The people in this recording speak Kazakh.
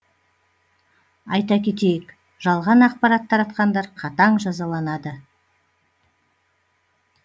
айта кетейік жалған ақпарат таратқандар қатаң жазаланады